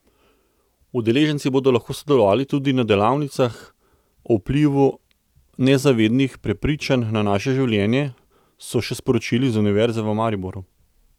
Udeleženci bodo lahko sodelovali tudi na delavnici o vplivu nezavednih prepričanj na naše življenje, so še sporočili z Univerze v Mariboru.